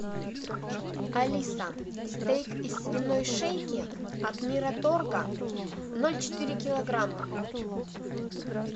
алиса стейк из свиной шейки от мираторга ноль четыре килограмма